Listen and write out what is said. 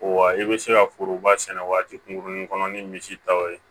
Wa i bɛ se ka foroba sɛnɛ waati kunkurunin kɔnɔ ni misi taw ye